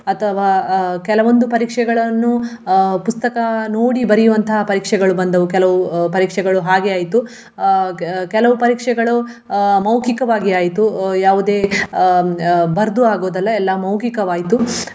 ಅಥವಾ ಅಹ್ ಕೆಲವೊಂದು ಪರೀಕ್ಷೆಗಳನ್ನು ಅಹ್ ಪುಸ್ತಕ ನೋಡಿ ಬರಿಯುವಂತಹ ಪರೀಕ್ಷೆಗಳು ಬಂದವು ಕೆಲವು ಅಹ್ ಪರೀಕ್ಷೆಗಳು ಹಾಗೆ ಆಯ್ತು. ಅಹ್ ಕೆ~ ಕೆಲವು ಪರೀಕ್ಷೆಗಳು ಆಹ್ ಮೌಖಿಕವಾಗಿ ಆಯ್ತು ಯಾವುದೇ ಅಹ್ ಅಹ್ ಬರ್ದು ಆಗುವುದಲ್ಲ ಎಲ್ಲ ಮೌಖಿಕವಾಯ್ತು.